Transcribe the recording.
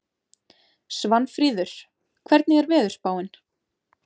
Svanfríður, hvernig er veðurspáin?